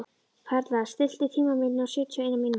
Perla, stilltu tímamælinn á sjötíu og eina mínútur.